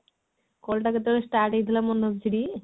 call ଟା କେତେବେଳେ start ହେଇଥିଲା ମନ ଅଛି ଟି?